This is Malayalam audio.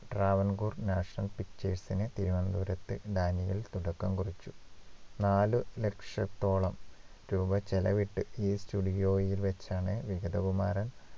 Travancore National Pictures ന് തിരുവനന്തപുരത്തു ഡാനിയേൽ തുടക്കം കുറിച്ചു നാല് ലക്ഷത്തോളം രൂപ ചെലവിട്ട് ഈ studio യിൽ വച്ചാണ് വിഗതകുമാരൻ